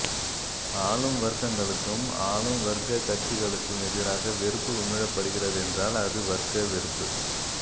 ஆளும் வர்க்கங்களுக்கும் ஆளும்வர்க்க கட்சிகளுக்கும் எதிராக வெறுப்பு உமிழப் படுகிறதென்றால் அது வர்க்க வெறுப்பு